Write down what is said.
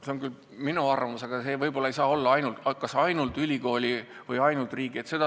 See on küll minu arvamus, aga see võib-olla ei saa olla ainult ülikooli või ainult riigi otsustada.